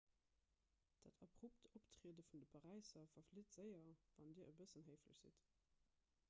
dat abrupt optriede vun de paräiser verflitt séier wann dir e bëssen héiflech sidd